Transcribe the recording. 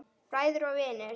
Bræður og vinir.